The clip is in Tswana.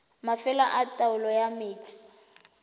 mafelo a taolo ya metsi